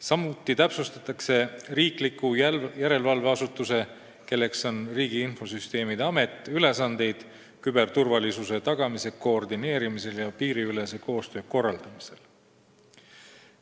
Samuti täpsustatakse riikliku järelevalveasutuse ehk Riigi Infosüsteemi Ameti ülesandeid küberturvalisuse tagamise koordineerimisel ja piiriülese koostöö korraldamisel.